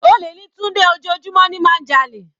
Olè ni Tunde, ojoojúmọ́ ni má ń jalè.